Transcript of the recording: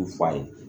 U fa ye